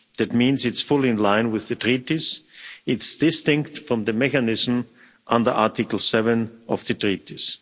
That means that it's fully in line with the Treaties and it's distinct from the mechanism under Article 7 of the Treaties.